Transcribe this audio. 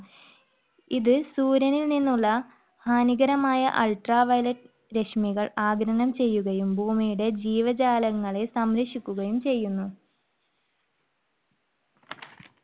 ഇത് സൂര്യനിൽനിന്നുള്ള ഹാനികരമായ ultraviolet രശ്മികൾ ആഗിരണം ചെയുകയും ഭൂമിയുടെ ജീവജാലങ്ങളെ സംരക്ഷിക്കുകയും ചെയ്യുന്നു